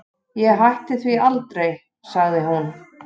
Ég hætti því aldrei, sagði hún.